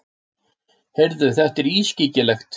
Heyrðu, þetta er ískyggilegt.